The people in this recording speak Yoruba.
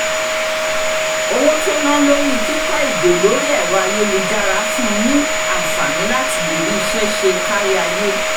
owó tó ná lórí kíkọ́ èdè lórí ẹ̀rọ ayélujára fún un ní àǹfààní láti lè rí iṣẹ́ ṣe káríayé